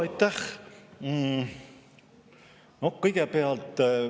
Aitäh!